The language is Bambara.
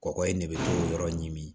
Kɔkɔ ye ne bɛ yɔrɔ ɲimi